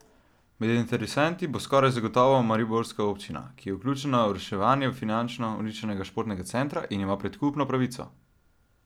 Med interesenti bo skoraj zagotovo mariborska občina, ki je vključena v reševanje finančno uničenega športnega centra in ima predkupno pravico.